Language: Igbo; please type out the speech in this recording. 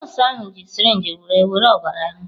Nọọsụ ahụ ji sirinji were were ọbara ha.